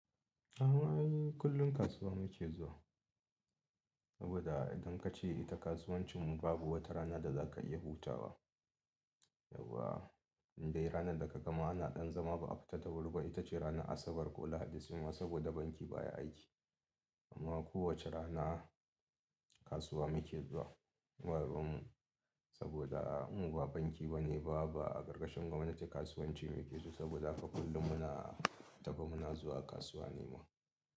Mu ainihin kullum kasuwa muke zuwa saboda idan kace ita kasuwancin babu wata rana da za ka iya hutawa. Yawwa indai ranarda ka gama ana ɗan zama ba a fita da wuri ba. Ita ce ranar Asabar ko Lahadi suma saboda banki baya aiki. Amma kowace rana kasuwa muke zuwa baruwanmu saboda mu ba banki bane ba a karkashin gwamnati kasuwanci muke so saboda haka kullum muna tafe muna zuwa kasuwa ne ma.